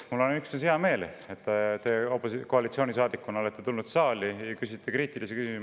Mul on üksnes hea meel, et te koalitsioonisaadikuna olete tulnud saali ja küsite kriitilisi küsimusi.